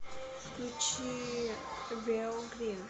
включи вео грин